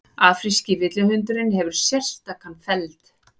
afríski villihundurinn hefur mjög sérstakan feld